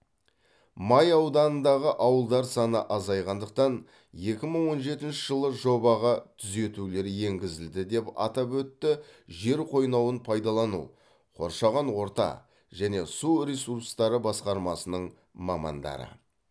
май ауданындағы ауылдар саны азайғандықтан екі мың он жетінші жылы жобаға түзетулер енгізілді деп атап өтті жер қойнауын пайдалану қоршаған орта және су ресурстары басқармасының мамандары